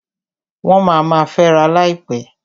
Wọ́n ma ma fęra láìpẹ́.